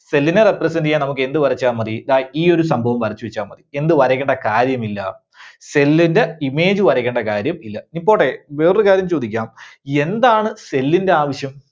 cell നെ represent ചെയ്യാൻ നമുക്ക് എന്ത് വരച്ചാൽ മതി? ദാ ഈ ഒരു സംഭവം വരച്ചുവെച്ചാൽ മതി. എന്ത് വരക്കണ്ട കാര്യമില്ല? cell ന്റെ image വരക്കണ്ട കാര്യം ഇല്ല. ഇനി പോട്ടെ വേറൊരു കാര്യം ചോദിക്കാം. എന്താണ് cell ന്റെ ആവശ്യം?